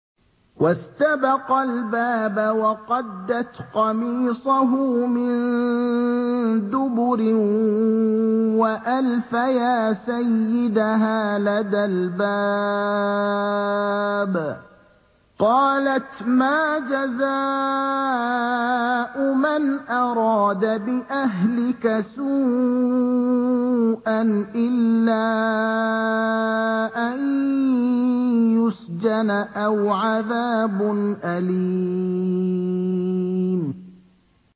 وَاسْتَبَقَا الْبَابَ وَقَدَّتْ قَمِيصَهُ مِن دُبُرٍ وَأَلْفَيَا سَيِّدَهَا لَدَى الْبَابِ ۚ قَالَتْ مَا جَزَاءُ مَنْ أَرَادَ بِأَهْلِكَ سُوءًا إِلَّا أَن يُسْجَنَ أَوْ عَذَابٌ أَلِيمٌ